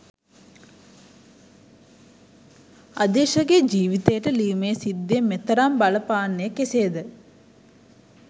අදීශගේ ජීවිතයට ලියුමේ සිද්ධිය මෙතරම් බලපාන්නේ කෙසේද